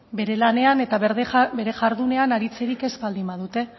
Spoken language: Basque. bere lanean eta bere jardunean aritzerik ez baldin badute